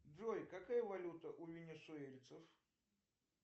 джой какая валюта у венесуэльцев